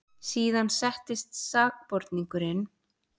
Síðan settist sakborningurinn.